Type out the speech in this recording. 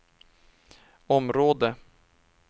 område